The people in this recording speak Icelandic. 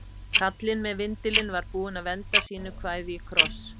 Kallinn með vindilinn var búinn að venda sínu kvæði í kross.